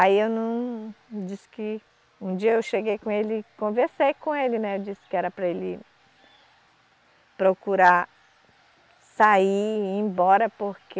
Aí eu não, disse que, um dia eu cheguei com ele, conversei com ele, né, eu disse que era para ele procurar sair e ir embora porque